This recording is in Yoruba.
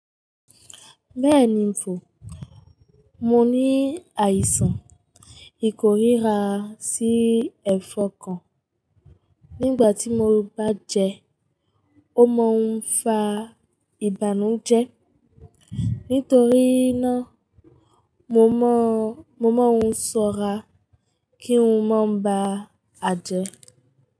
Bẹ́ẹ̀ni ń fò, mo ní àìsàn, ì kòrira sí ẹ̀fọ́n kan. Nígbà tí mo bá jẹ ẹ́, ó máa ń fa ìbànújẹ́. Nítorí náà, mo máa ń ṣọ́ra kí n máa ba à jẹ ẹ́